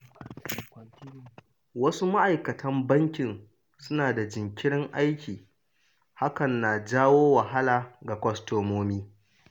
Wasu ma’aikatan bankin suna da jinkirin aiki, hakan na janyo wahala ga kwastomomi.